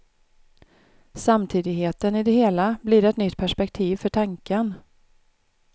Samtidigheten i det hela blir ett nytt perspektiv för tanken.